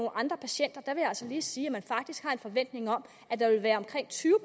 andre patienter vil jeg altså lige sige at man faktisk har en forventning om at der vil være omkring tyve